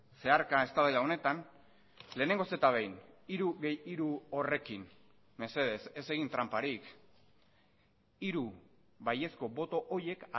zeharka eztabaida honetan lehenengoz eta behin hiru gehi hiru horrekin mesedez ez egin tranparik hiru baiezko boto horiek